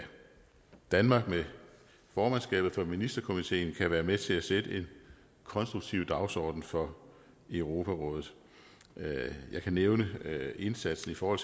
danmark med formandskabet for ministerkomiteen kan være med til at sætte en konstruktiv dagsorden for europarådet jeg kan nævne indsatsen for